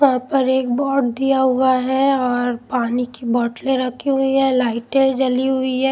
वहां पर एक बोर्ड दिया हुआ है और पानी की बोतलें रखी हुई है लाइटें जली हुई है.